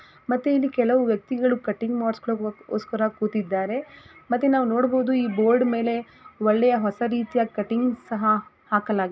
ಮತ್ತೆ ಇಲ್ಲಿ ಕೆಲವು ವ್ಯಕ್ತಿಗಳು ಕಟಿಂಗ್ ಮಾಡ್ಸ್ಕೊಳಿಕ್ಕೋಸ್ಕರ ಕುತ್ತಿದ್ದಾರೆ ಮತ್ತೆ ನಾವು ನೋಡಬಹುದು ಈ ಬೋರ್ಡ್ ಮೇಲೆ ಒಳ್ಳೆಯ ಹೊಸ ರೀತಿಯ ಕಟಿಂಗ್ ಸಹ ಹಾಕಲಾಗಿದೆ.